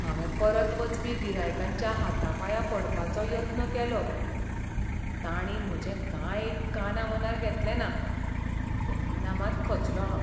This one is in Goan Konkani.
हांवें परत वचपी गिरायकांच्या हातापांयां पडपाचो यत्न केलो. पूण तांणी म्हजें कांय एक कानामनार घेतलें ना, तेन्ना मात खचलों हांव.